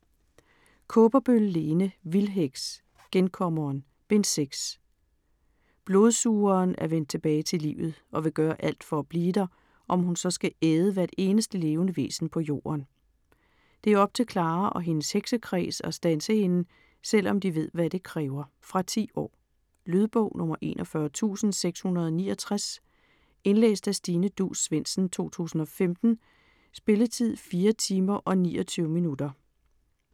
Kaaberbøl, Lene: Vildheks: Genkommeren: Bind 6 Blodsugeren er vendt tilbage til livet og vil gøre alt for at blive der, om hun så skal æde hvert eneste levende væsen på jorden. Det er op til Clara og hendes heksekreds at standse hende, selvom de ved hvad det kræver. Fra 10 år. Lydbog 41669 Indlæst af Stine Duus Svendsen, 2015. Spilletid: 4 timer, 29 minutter.